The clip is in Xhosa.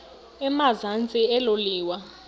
emazantsi elo liwa